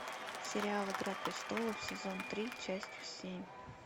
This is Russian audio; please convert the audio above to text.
сериал игра престолов сезон три часть семь